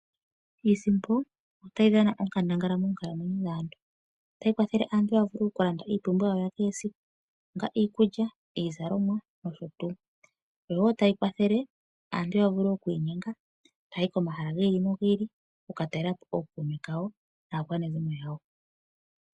Iisimpo otayi dhana onkandangala moonkalamwenyo dhaantu otayi kwathele aantu ya vule oku ka landa iipumbiwa yawo yakehe siku kutya nee iikulya, iizalomwa nosho tuu. Oyo wo tayi kwathele aantu ya vule oku inyenga taya yi komahala gi ili nogi ili oku ka talela po ookuume kawo naakwanezimo yawo.